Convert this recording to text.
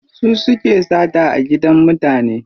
Su suke sata a gidan mutane.